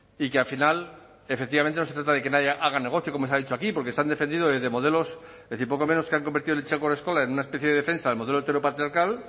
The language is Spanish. y que al final efectivamente no se trata de que nadie haga negocio como se ha dicho aquí porque se han defendido desde modelos es decir poco menos que han convertido el en una especie de defensa del modelo heteropatriarcal